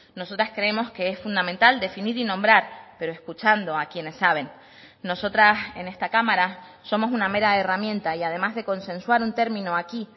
nosotras creemos que es fundamental definir y nombrar pero escuchando a quienes saben nosotras en esta cámara somos una mera herramienta y además de consensuar un término aquí